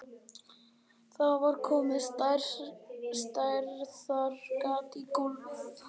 Það var komið stærðar gat í gólfið.